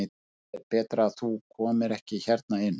Það er betra að þú komir ekki hérna inn.